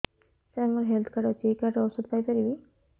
ସାର ମୋର health card ଅଛି ଏହି କାର୍ଡ ରେ ଔଷଧ ପାଇପାରିବି